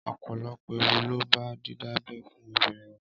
Ọpọlọpọ ééwù ló bá didábẹ̀ fùn óbírín wá